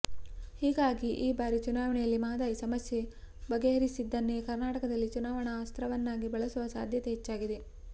ಹೀಗಾಗಿ ಈ ಬಾರಿ ಚುನಾವಣೆಯಲ್ಲಿ ಮಹದಾಯಿ ಸಮಸ್ಯೆ ಬಗೆಹರಿಸಿದ್ದನ್ನೇ ಕರ್ನಾಟಕದಲ್ಲಿ ಚುನಾವಣಾ ಅಸ್ತ್ರವನ್ನಾಗಿ ಬಳಸುವ ಸಾಧ್ಯತೆ ಹೆಚ್ಚಾಗಿದೆ